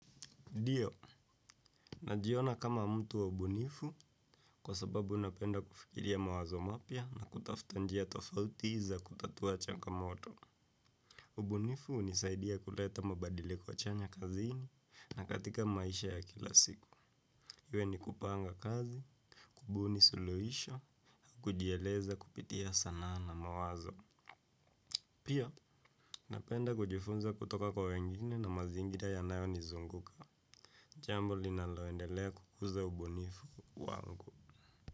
Dio najiona kama mtu wa ubunifu kwa sababu napenda kufikiria mawazo mapya na kutafta njia tofauti za kutatua changamoto. Ubunifu unisaidia kuleta mabadilko chanya kazini na katika maisha ya kila siku. Iwe ni kupanga kazi, kubuni suluisho, au kujieleza kupitia sana na mawazo. Pia, napenda kujifunza kutoka kwa wengine na mazingira yanayo nizunguka. Jambo linalo endelea kukuza ubuonifu wangu.